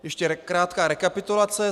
Ještě krátká rekapitulace.